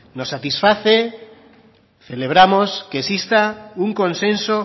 nos satisface celebramos que exista un consenso